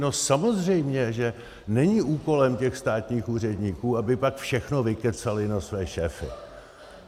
No samozřejmě že není úkolem těch státních úředníků, aby pak všechno vykecali na své šéfy.